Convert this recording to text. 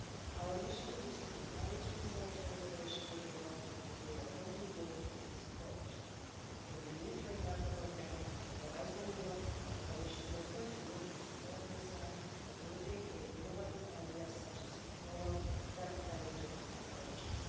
Our mission is to encourage research and innovation in Europe and we will continue with that approach. In the new framework programme, Horizon Europe, the Commission will continue to support research, including in innovative areas including novel therapeutic approaches.